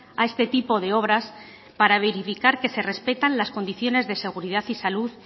a este tipo de obras para verificar que se respetan las condiciones de seguridad y salud